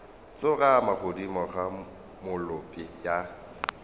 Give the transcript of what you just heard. tsorama godimo ga molope ya